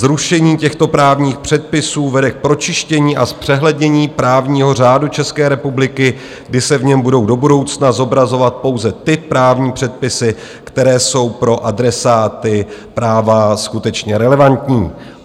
Zrušení těchto právních předpisů vede k pročištění a zpřehlednění právního řádu České republiky, kdy se v něm budou do budoucna zobrazovat pouze ty právní předpisy, které jsou pro adresáty práva skutečně relevantní.